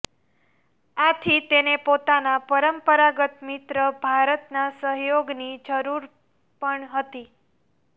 આથી તેને પોતાના પરંપરાગત મિત્ર ભારતના સહયોગની જરૂર પણ હતી